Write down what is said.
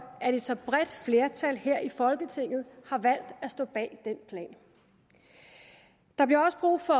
at et så bredt flertal her i folketinget har valgt at stå bag den plan der bliver også brug for